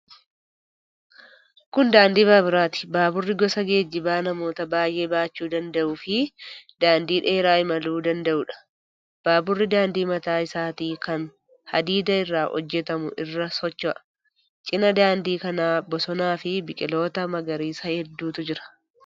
Kun daandii baaburaati. Baaburri gosa geejjibaa namoota baay'ee baachuu danda'uufi daandii dheeraa imaluu danda'uudha. Baaburri daandii mataa isaatii kan hadiida irraa hojjetamu irra socho'a. Cina daandii kanaa bosonaafi biqiltoota magariisa hedduutu jira.